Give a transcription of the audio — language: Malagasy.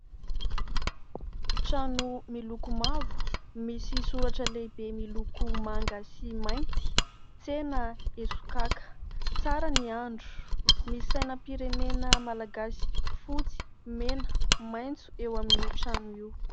Trano miloko mavo, misy soratra lehibe miloko manga sy mainty " Tsena Esokaka " tsara ny andro misy sainam-pirenena malagasy fotsy, mena, maitso eo amin'io trano io.